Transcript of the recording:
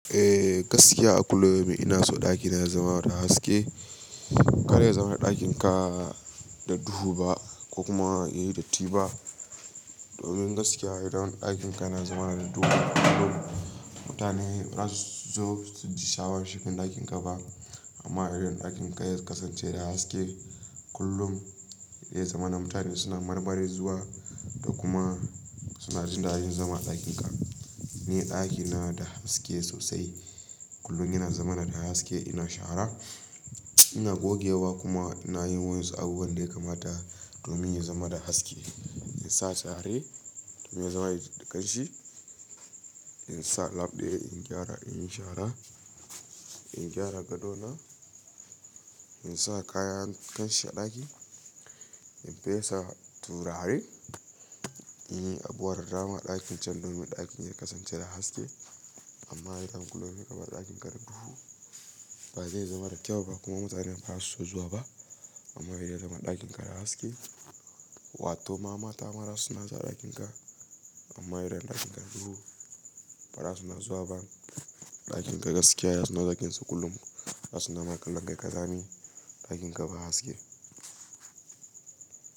Eh, gaskiya a kulum ina so ɗakina ya zama da haske. Kar ya zama ɗakinka da duhu ba ko kuma yayi datti ba. Domin gaskiya idan ɗakin ka yana zama da duhu kullum, mutane baza su zo su ji sha awan shiga ɗakin ka ba. Amma idan ɗakin ka ya kasance da haske kullum, zai zama na mutane suna mar main zuwa da kuma suna jin dadin zama a ɗakin ka. Ni ɗakina da haske sosai. Kullum yana zama na da haske ina shara, ina gogewa kuma ina yin wasu abubuwan da ya kamata domin ya zama da haske. In sa sari domin ya zama da kanshi, in sa lab ɗaya in gyara, in yi shara, in gyara gadona, in sa kayan kanshi a ɗaki, in fesa turare, in yi abubuwan dama a ɗakin can domin ɗakin ya kasance da haske. Amma idan kullum kabar ɗakinka da duhu ba ze zama da kyau ba kuma mutane baza su zuwa ba amma idan zama a ɗakin ka da haske, watto ma mata ma zasu na zuwa ɗakin ka. Amma idan ɗakin ka da duhu baza su na zuwa ba. Ɗakin ka gaskiya bazasu na zuwa kullum, baza su na makallan kai kazani ɗakin ka ba haske.